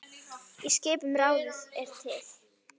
Skipun í ráðið er til